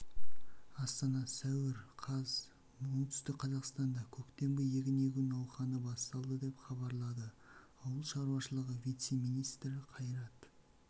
астана сәуір қаз оңтүстік қазақстанда көктемгі егін егу науқаны басталды деп хабарлады ауыл шаруашылығы вице-министрі қайрат